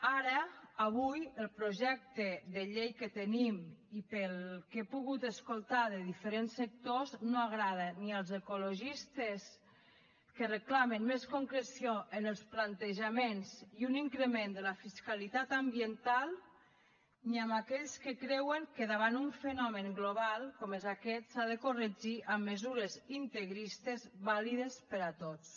ara avui el projecte de llei que tenim i pel que he pogut escoltar de diferents sectors no agrada ni als ecologistes que reclamen més concreció en els plantejaments i un increment de la fiscalitat ambiental ni a aquells que creuen que davant d’un fenomen global com és aquest s’ha de corregir amb mesures integristes vàlides per a tots